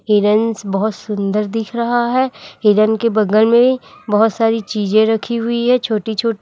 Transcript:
Heron's बहोत सुंदर दिख रहा है हिरन के बगल मे बहोत सारी चीजें रखी हुई हैं छोटी छोटी।